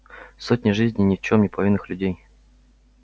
сотня жизней ни в чём не повинных людей